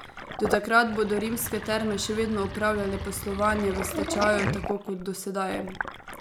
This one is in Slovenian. Do takrat bodo Rimske terme še vedno opravljale poslovanje v stečaju tako kot do sedaj.